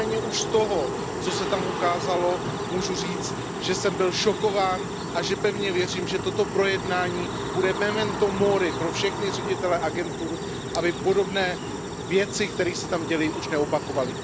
Nicméně už z toho, co se tam ukázalo, můžu říct, že jsem byl šokován a že pevně věřím, že toto projednání bude mementem mori pro všechny ředitele agentur, aby podobné věci, které se tam děly, už neopakovali.